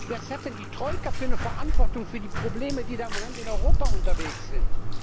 Was hat denn die Troika für eine Verantwortung für die Probleme, die da im Moment in Europa unterwegs sind?